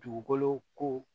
Dugukolo ko